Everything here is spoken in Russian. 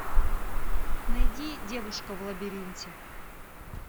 найди девушка в лабиринте